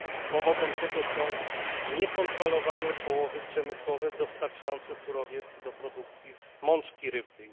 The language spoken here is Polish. Powodem tego są niekontrolowane połowy przemysłowe dostarczające surowiec do produkcji mączki rybnej.